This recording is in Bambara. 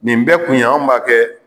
Nin bɛ kun anw b'a kɛ